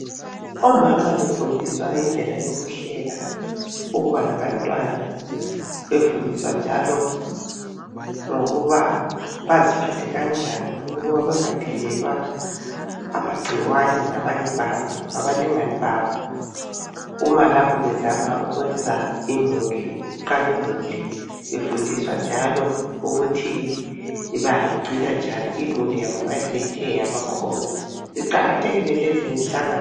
Omama befundiswa indlela yokuhlela ukuba labantwana, befundiswa njalo ngokuba baziphathe kanjani ukuba bangathelelwa amagcikwane ngabalingani babo uma lapha bezama ukuqala imuli. Bafundiswa njalo ukuthi bayigcina njani imuli nxa isithe yabakhona. Iqakathekile imihlangano le.